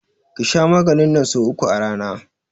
Ki sha maganin nan so uku a rana!